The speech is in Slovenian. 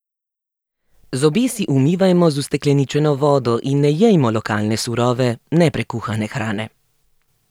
Zobe si umivajmo z ustekleničeno vodo in ne jejmo lokalne surove, neprekuhane hrane.